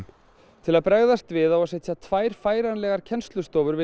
til að bregðast við á að setja tvær færanlegar kennslustofur við